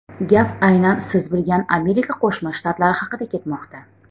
Gap aynan siz bilgan Amerika Qo‘shma Shtatlari haqida ketmoqda.